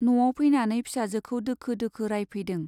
न'आव फैनानै फिसाजोखौ दोखो दोखो रायफैदों।